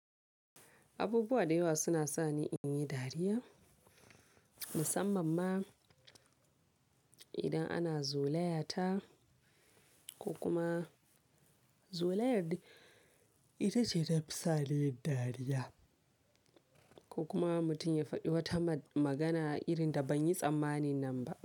Abubuwa da yawa suna sa ni in yi dariya musamman ma idan ana zola yata ko kuma zola yar dai ita ce ta fi sa ni dariya ko kuma mutum ya faɗi wata magana irin da ban yi tsammani nan ba.